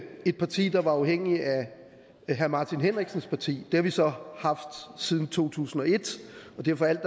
et parti der var afhængige af herre martin henriksens parti det har vi så haft siden to tusind og et og derfor